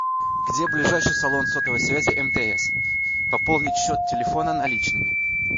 где ближайший салон сотовой связи мтс пополнить счет телефона наличными